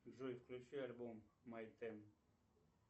джой включи альбом май тен